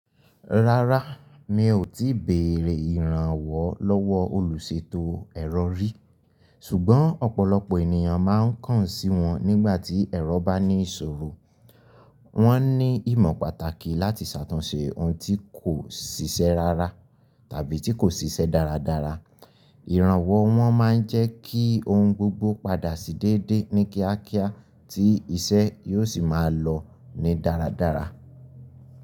Rárá, mi ò tíì béèrè ìrànwọ́ lọ́wọ́ olùṣètò ẹ̀rọ rí, ṣùgbọ́n ọ̀pọ̀lọpọ̀ ènìyàn máa ń kàn sí wọn nígbà tí ẹ̀rọ bá ní ìṣòro. Wọ́n ní ìmọ̀ pàtàkì láti ṣàtúnṣe ohun tí kò ṣiṣẹ́ rárá tàbí tí kò ṣiṣẹ́ dáradára. Ìrànwọ́ wọn máa ń jẹ́ kí ohun gbogbo padà sí déédé ní kíákíá tí iṣẹ́ yóò sì máa lọ ní dáradára.